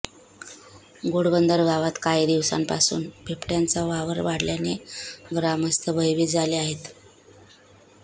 घोडबंदर गावात काही दिवसांपासून बिबट्याचा वावर वाढल्याने ग्रामस्थ भयभीत झाले आहेत